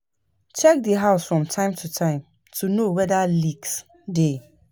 Check di house from time to time to know weda leaks dey